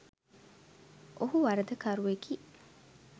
ඔහු වරදකරුවෙකි